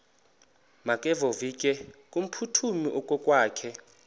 makevovike kumphuthumi okokwakhe